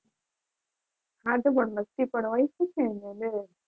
હા તો પણ